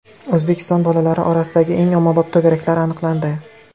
O‘zbekiston bolalari orasidagi eng ommabop to‘garaklar aniqlandi.